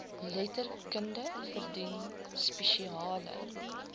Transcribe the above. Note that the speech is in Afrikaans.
letterkunde verdien spesiale